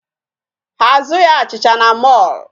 Ha azụghị achịcha na mall